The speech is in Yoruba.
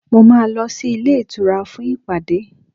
Mo máa lọ sí ilé ìtura fún ìpàdé